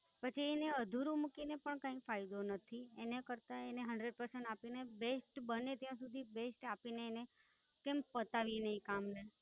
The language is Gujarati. પછી એને અધૂરું મૂકીને પણ કાંઈ ફાયદો નથી. એના કરતા એને Hundred percent આપીને, Best બને ત્યાં સુધી Best આપીને એને, કેમ પતાવી નય કામ ને.